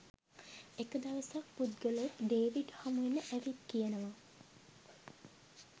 එක දවසක් පුද්ගලයෙක් ඩේවිඩ් හමුවෙන්න ඇවිත් කියනවා